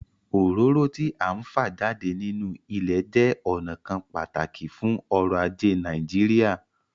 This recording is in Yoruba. Òróró tí à ń fa jáde nínú ilẹ̀ jẹ́ ọnà kan pàtàkì fún ọ̀rọ̀ ajé Nàìjíríà